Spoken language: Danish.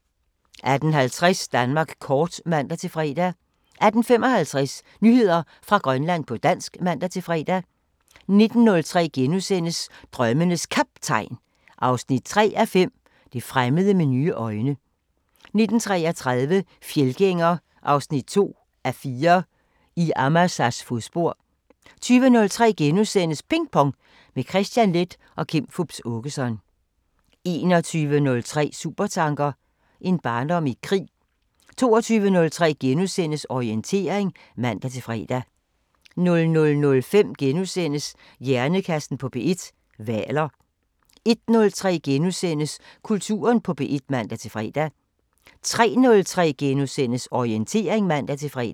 18:50: Danmark kort (man-fre) 18:55: Nyheder fra Grønland på dansk (man-fre) 19:03: Drømmenes Kaptajn 3:5 – Det fremmede med nye øjne * 19:33: Fjeldgænger 2:4 – I Amasas fodspor 20:03: Ping Pong – med Kristian Leth og Kim Fupz Aakeson * 21:03: Supertanker: En barndom i krig 22:03: Orientering *(man-fre) 00:05: Hjernekassen på P1: Hvaler * 01:03: Kulturen på P1 *(man-fre) 03:03: Orientering *(man-fre)